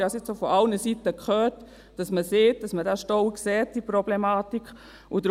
Und ich habe nun auch von allen Seiten gehört, dass man sagt, dass man diesen Stau und diese Problematik sehe.